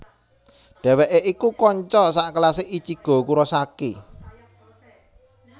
Dheweke iku kanca sakelase Ichigo Kurosaki